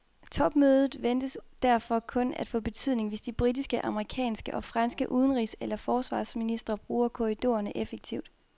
Topmødet ventes derfor kun at få betydning, hvis de britiske, amerikanske og franske udenrigs og forsvarsministre bruger korridorerne effektivt.